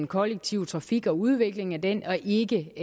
kollektive trafik og udviklingen af den og ikke